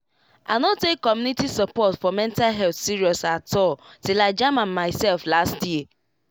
i no take community support for mental health serious at all till i jam am myself last year